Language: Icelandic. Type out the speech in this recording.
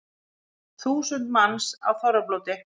Þúsund manns á þorrablóti